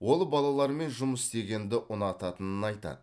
ол балалармен жұмыс істегенді ұнататынын айтады